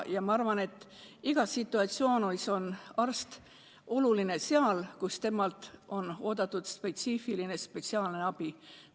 Ma arvan, et igas situatsioonis, kus on oodatud spetsiifiline, spetsiaalne abi, on arst oluline.